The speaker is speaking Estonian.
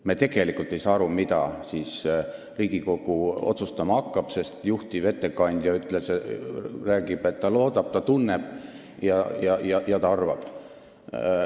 Me tegelikult ei saa aru, mida siis Riigikogu otsustama hakkab, sest juhtivkomisjoni ettekandja räägib, et ta loodab, ta tunneb ja ta arvab.